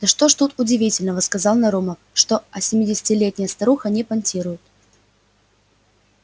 да что ж тут удивительного сказал нарумов что осьмидесятилетняя старуха не понтирует